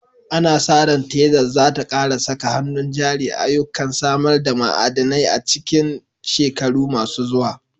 Ana sa ran Texas za ta ƙara saka hannun jari a ayyukan samar da ma'adanai a cikin shekaru masu zuwa.